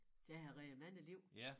Det har redet mange liv